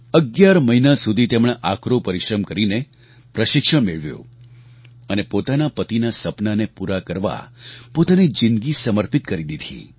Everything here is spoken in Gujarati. ૧૧ મહિના સુધી તેમણે આકરો પરિશ્રમ કરીને પ્રશિક્ષણ મેળવ્યું અને પોતાના પતિનાં સપનાંને પૂરાં કરવા પોતાની જિંદગી સમર્પિત કરી દીધી